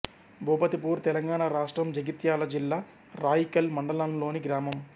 భూపతిపూర్ తెలంగాణ రాష్ట్రం జగిత్యాల జిల్లా రాయికల్ మండలంలోని గ్రామం